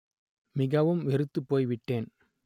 மிகவும் வெறுத்துப் போய்விட்டேன்